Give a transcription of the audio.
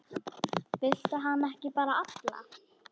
Viltu hana ekki bara alla?